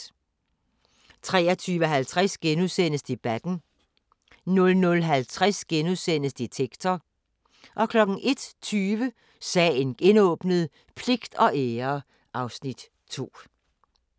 23:50: Debatten * 00:50: Detektor * 01:20: Sagen genåbnet: Pligt og ære (Afs. 2)